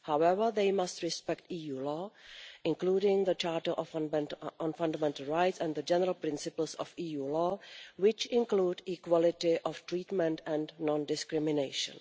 However, they must respect EU law, including the Charter on Fundamental Rights and the general principles of EU law, which include equality of treatment and non discrimination.